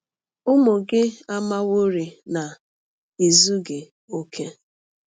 Ụmụ gị amaworị na i zughị okè.